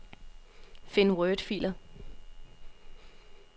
Find wordfiler.